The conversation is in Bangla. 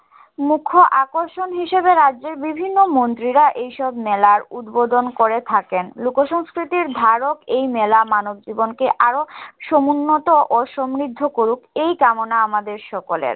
মুখ্য আকর্ষণ হিসেবে রাজ্যের বিভিন্ন মন্ত্রীরা এই সব মেলার উদ্বোধন করে থাকেন লোক সংস্কৃতির ধারক এই মেলা মানব জীবনকে আরো সমুন্নত ও সমৃদ্ধ করুক এই কামনা আমাদের সকলের